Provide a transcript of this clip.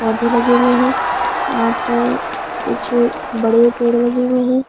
पौधे लगे हुए है यहाँ पर कुछ बड़े पेड़ लगे हुए है।